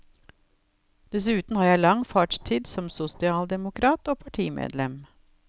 Dessuten har jeg lang fartstid som sosialdemokrat og partimedlem.